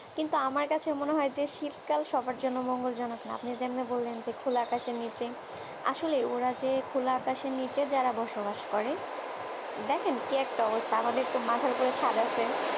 কিন্তু আমার কাছে মনে হয় যে শীতকাল সবার জন্য মঙ্গলজনক না আপনি যেমনে বললেন যে খোলা আকাশের নিচে আসলে ওরা যে খোলা আকাশের নিচে যারা বসবাস করে দেখেন কি একটা অবস্থা আমাদের মাথার উপর ছাদআছে